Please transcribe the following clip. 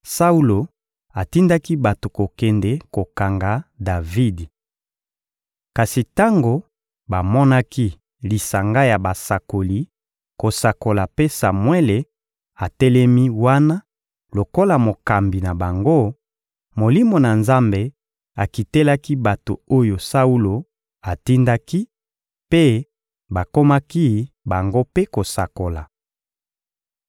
Saulo atindaki bato kokende kokanga Davidi. Kasi tango bamonaki lisanga ya basakoli kosakola mpe Samuele atelemi wana lokola mokambi na bango, Molimo na Nzambe akitelaki bato oyo Saulo atindaki, mpe bakomaki bango mpe kosakola.